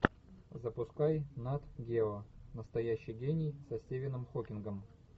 запускай нат гео настоящий гений со стивеном хокингом